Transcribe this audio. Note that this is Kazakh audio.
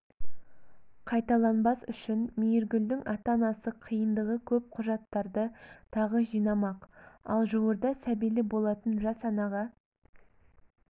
қайталанбас үшін мейіргүлдің ата-анасы қиындығы көп құжаттарды тағы жинамақ ал жуырда сәбилі болатын жас анаға